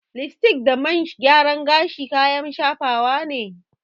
Lipstick da man gyaran gashi kayan shafawa ne.